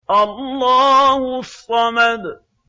اللَّهُ الصَّمَدُ